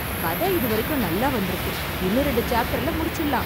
கதை இது வரைக்கும் நல்லா வந்திருக்கு. இன்னும் ரெண்டு சாப்டர்ல முடிச்சுடலாம்.